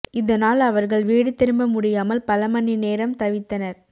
இதனால் அவர்கள் வீடு திரும்ப முடியாமல் பல மணி நேரம் தவித்தனர்